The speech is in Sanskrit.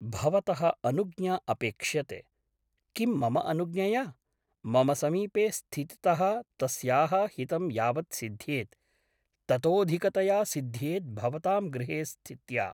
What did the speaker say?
भवतः अनुज्ञा अपेक्ष्यते । किं मम अनुज्ञया ? मम समीपे स्थितितः तस्याः हितं यावत् सिद्ध्येत् ततोऽधिकतया सिद्ध्येत् भवतां गृहे स्थित्या ।